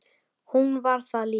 Hún var það líka.